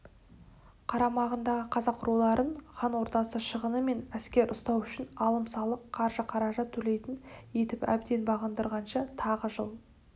қарамағындағы қазақ руларын хан ордасы шығыны мен әскер ұстау үшін алым-салық қаржы-қаражат төлейтін етіп әбден бағындырғанша тағы жыл